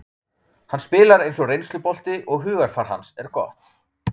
Hann spilar eins og reynslubolti og hugarfar hans er gott.